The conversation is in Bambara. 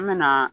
An me na